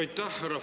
Aitäh!